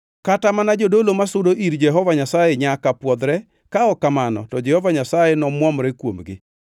Kata mana jodolo ma osudo ir Jehova Nyasaye nyaka pwodhre ka ok kamano to Jehova Nyasaye nomwomre kuomgi.”